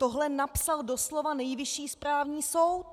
- Tohle napsal doslova Nejvyšší správní soud.